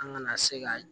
An kana se ka